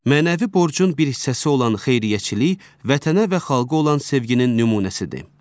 Mənəvi borcun bir hissəsi olan xeyriyyəçilik vətənə və xalqa olan sevginin nümunəsidir.